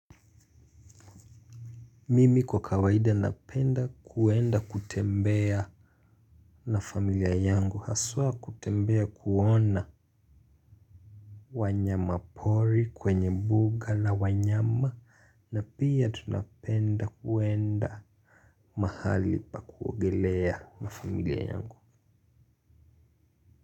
Mimi kwa kawaida napenda kuenda kutembea na familia yangu, haswa kutembea kuona wanyama pori kwenye mbuga la wanyama na pia tunapenda kuenda mahali pa kuogelea na familia yangu.